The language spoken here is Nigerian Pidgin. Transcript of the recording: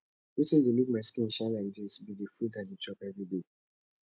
wetin dey make my skin shine like dis be the fruit i dey chop everyday